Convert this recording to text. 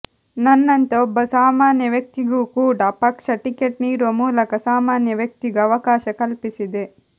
ನನ್ನಂತ ಒಬ್ಬ ಸಾಮಾನ್ಯ ವ್ಯಕ್ತಿಗೂ ಕೂಡ ಪಕ್ಷ ಟಿಕೆಟ್ ನೀಡುವ ಮೂಲಕ ಸಾಮಾನ್ಯ ವ್ಯಕ್ತಿಗೂ ಅವಕಾಶ ಕಲ್ಪಿಸಿದೆ